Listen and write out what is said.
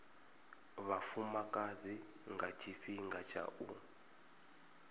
vhafumakadzi nga tshifhinga tsha u